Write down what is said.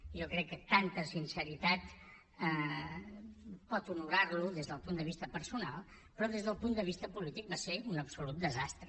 jo crec que tanta sinceritat pot honorar lo des del punt de vista personal però des del punt de vista polític va ser un absolut desastre